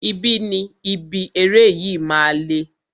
Ibi ni ibi eré yìí máa le.